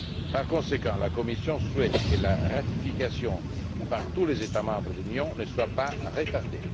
Par conséquent, la Commission souhaite que la ratification par tous les États membres de l'Union ne soit pas retardée.